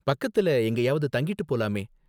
பக்கத்துல எங்கேயாவது தங்கிட்டு போலாமே.